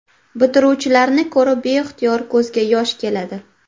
Bitiruvchilarni ko‘rib beixtiyor ko‘zga yosh keladi.